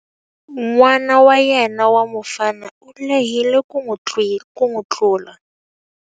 N'wana wa yena wa mufana u lehile ku n'wi tlula.